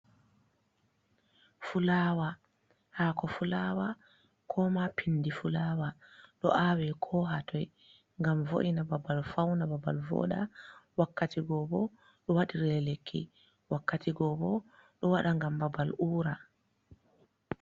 Fulawa: Hako fulawa ko ma pindi fulawa ɗo awe ko hatoi ngam vo’ina babal, fauna babal voɗa, wakkati gobo ɗo waɗire lekki, wakkati gobo ɗo waɗa ngam babal ura.